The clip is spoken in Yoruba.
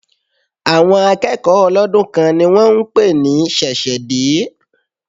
Àwọn akẹ́kọ̀ọ́ ọlọ́dún kan ni wón ń pè ní ṣẹ̀ṣẹ̀ dé.